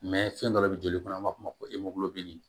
fɛn dɔ bɛ joli kɔnɔ an b'a fɔ o ma ko